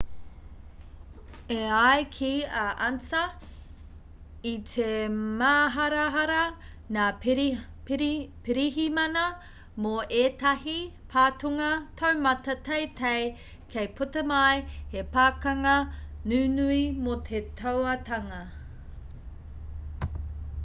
e ai ki a ansa i te māharahara ngā pirihimana mō ētahi patunga taumata teitei kei puta mai he pakanga nunui mō te tauatanga